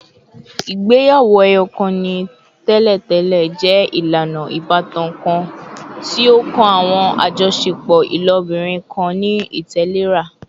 Igbeyawo-ẹyọkan ni tẹlentẹle jẹ ilana ibatan kan ti o kan awọn ajọṣepọ ilobirin kan ni itẹlera